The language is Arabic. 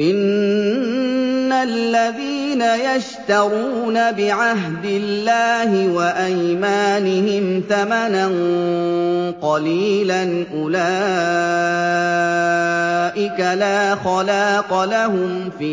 إِنَّ الَّذِينَ يَشْتَرُونَ بِعَهْدِ اللَّهِ وَأَيْمَانِهِمْ ثَمَنًا قَلِيلًا أُولَٰئِكَ لَا خَلَاقَ لَهُمْ فِي